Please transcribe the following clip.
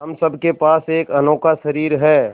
हम सब के पास एक अनोखा शरीर है